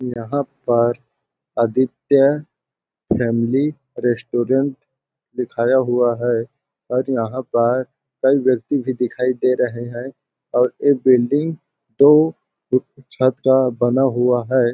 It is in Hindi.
यहाँ पर आदित्य फॅमिली रेस्टोरेंट दिखाया हुआ है और यहाँ पर यहाँ पर कही व्यक्ति भी दिखाई दे रहे है और एक बिल्डिंग तो एक छत का बना हुआ है।